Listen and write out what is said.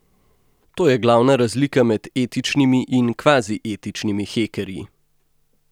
To je glavna razlika med etičnimi in kvazi etičnimi hekerji.